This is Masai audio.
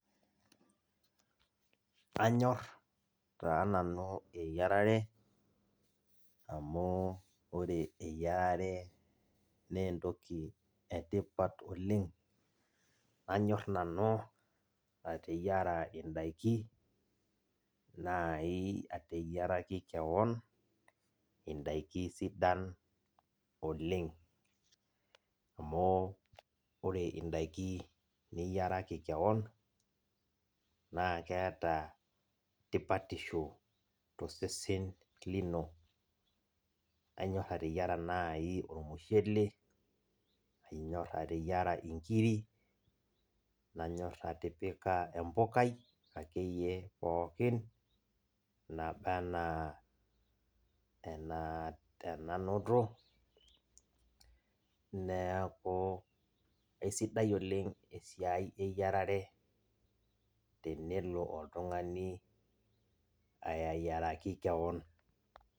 Kanyor taananu eyiarare amu ore eyiarare neentoki etipat oleng nanyor nanu ateyiara ndakini naji ateyiaraki kewon indakini sidan oleng amu ore indakin niyiaraki kewon na keeta tipatisho tosesen lino, kanyor ateyiara nai ormushele nanyor ateyiara nkirik, nanyor atipika empukai akeyie pookin nabaa ana enanoto neaku kesidai oleng esiai eyiarare tenelo oltungani ayieraki kewon.